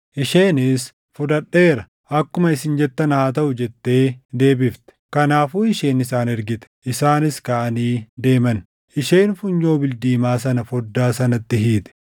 Isheenis, “Fudhadheera; akkuma isin jettan haa taʼu” jettee deebifte. Kanaafuu isheen isaan ergite; isaanis kaʼanii deeman. Isheen funyoo bildiimaa sana foddaa sanatti hiite.